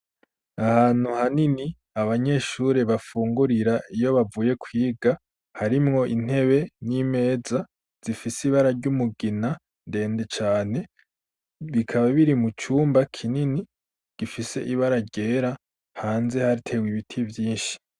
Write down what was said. Ahantu hanini abanyeshuri bafungurira iyo bavuye kwiga harimwo intebe n'imeza zifise ibara ry'umugina ndende cane bikaba biri mu cumba kinini gifise ibara ryera hanze hatewe ibiti vyinshi.